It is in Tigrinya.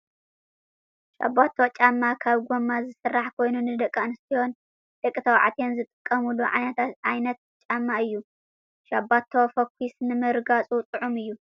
ሻባቶ ጫማ ካብ ጎማ ዝስራሕ ኮይኑ ንደቂ ኣንስትዮን ደቂ ተባዕትዮን ዝጥቀሙሉ ዓይነት ጫማ እዩ። ሻባቶ ፎኪስ ንምርጋፁ ጥዑም እዩ ።